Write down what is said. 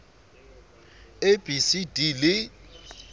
a b c d le